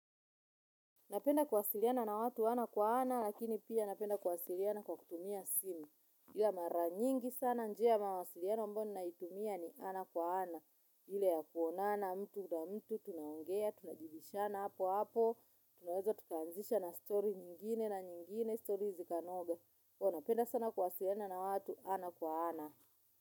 Napenda kuwasiliana na watu ana kwa ana, lakini pia napenda kuwasiliana kwa kutumia simu. Ila mara nyingi sana njia ya mawasiliano ambayo ninaitumia ni ana kwa ana. Ile ya kuonana mtu na mtu, tunaongea, tunajibishana apo apo, tunaweza tukaanzisha na story nyingine na nyingine, story zikanoga. Huwa napenda sana kuwasiliana na watu ana kwa ana.